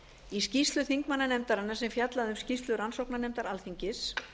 í skýrslu þingmannanefndarinnar sem fjallaði um skýrslu rannsóknarnefndar alþingis